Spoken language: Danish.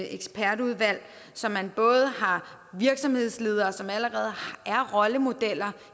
ekspertudvalg så man både har virksomhedsledere som allerede er rollemodeller